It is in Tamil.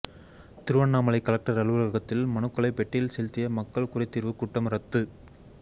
திருவண்ணாமலை கலெக்டர் அலுவலகத்தில் மனுக்களை பெட்டியில் செலுத்திய மக்கள் குறைதீர்வு கூட்டம் ரத்து